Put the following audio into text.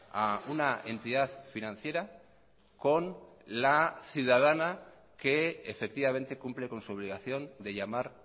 a una entidad financiera con la ciudadana que efectivamente cumple con su obligación de llamar